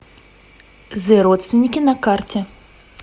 зэ родственники на карте